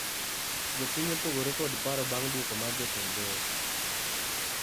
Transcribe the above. Jopiny opogore kod paro bang duoko mar jatend doho